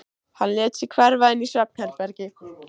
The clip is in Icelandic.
Hann lét sig hverfa inn í svefnherbergi.